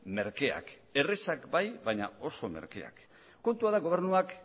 merkeak errazak bai baina oso merkeak kontua da gobernuak